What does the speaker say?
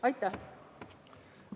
Aitäh!